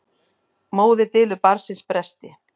Móðir dylur barnsins bresti.